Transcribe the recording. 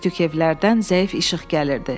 Tək-tük evlərdən zəif işıq gəlirdi.